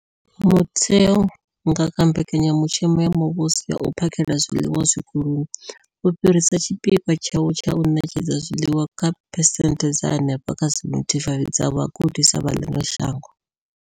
Mutheo, nga kha Mbekanya mushumo ya Muvhuso ya U phakhela zwiḽiwa Zwikoloni, wo fhirisa tshipikwa tshawo tsha u ṋetshedza zwiḽiwa kha phesenthe dza henefha kha 75 dza vhagudiswa vha ḽino shango.